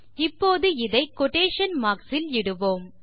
இப்போது இதை quotation marks இல் இடுவோம்